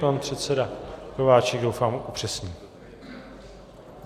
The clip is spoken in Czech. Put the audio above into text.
Pan předseda Kováčik doufám upřesní.